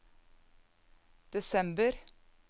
desember